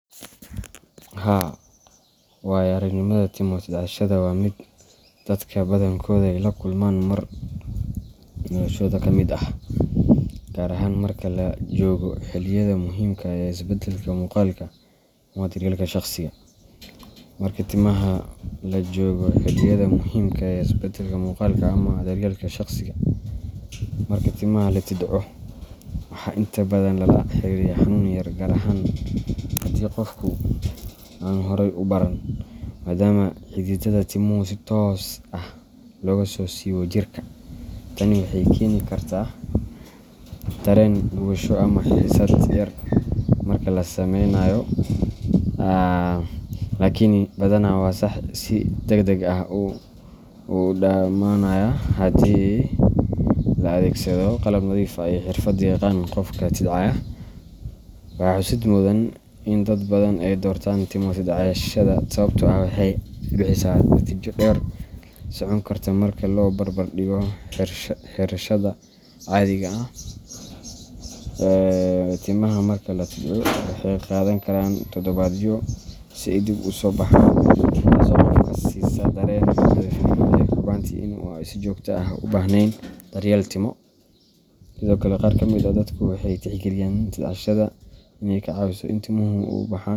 Haa, waaya-aragnimada timo tidcashada waa mid dadka badankooda ay la kulmaan mar noloshooda ka mid ah, gaar ahaan marka la joogo xilliyada muhiimka ah ee isbeddelka muuqaalka ama daryeelka shakhsiga. Marka timaha la tidco, waxaa inta badan lala xiriiriyaa xanuun yar, gaar ahaan haddii qofku aanu horey u baran, maadaama xididdada timuhu si toos ah looga soo siibo jirka. Tani waxay keeni kartaa dareen gubasho ama xiisad yar marka la samaynayo, laakiin badanaa waa wax si degdeg ah u dhammaanaya haddii la adeegsado qalab nadiif ah iyo xirfad yaqaan qofka tidcaya. Waxaa xusid mudan in dad badan ay doortaan timo tidcashada sababtoo ah waxay bixisaa natiijo dheer socon karta marka loo barbardhigo xiirashada caadiga ah. Timaha marka la tidco, waxay qaadan karaan toddobaadyo si ay dib u soo baxaan, taasoo qofka siisa dareen nadiifnimo iyo hubanti ah in aanu si joogto ah u baahnayn daryeel timo. Sidoo kale, qaar ka mid ah dadku waxay tixgeliyaan tidcashada inay ka caawiso in timuhu u baxaan.